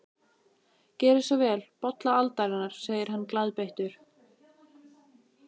Gerið svo vel, bolla aldarinnar, segir hann glaðbeittur.